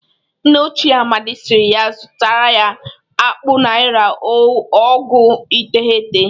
Nna ochie Amadị siri ya zụtara ya akpụ naịra ọgụ iteghete